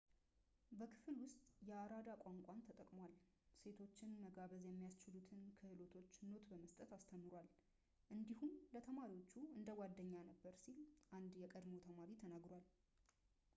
በክፍል ውስጥ የአራዳ ቋንቋን ተጠቅሟል ሴቶችን መጋበዝ የሚያስችሉትን ክህሎቶች ኖት በመስጠት አስተምሯል እንዲሁም ለተማሪዎቹ እንደ ጓደኛ ነበር ሲል አንድ የቀድሞ ተማሪ ተናግሯል